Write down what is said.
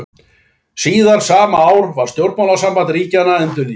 Síðar sama ár var stjórnmálasamband ríkjanna endurnýjað.